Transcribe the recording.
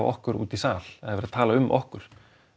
okkur úti í sal það er verið að tala um okkur